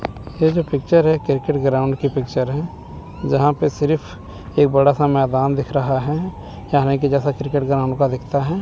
ये जो पिक्चर है क्रिकेट ग्राउंड की पिक्चर है जहां पे सीरिफ एक बड़ा सा मैदान दिख रहा है यानि की जैसा क्रिकेट ग्राउंड का दिखता है।